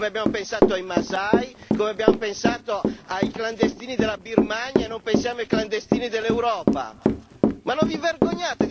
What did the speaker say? Noi dobbiamo pensare al Burundi, come abbiamo pensato ai Masai, come abbiamo pensato ai clandestini della Birmania e non pensiamo ai clandestini dell'Europa.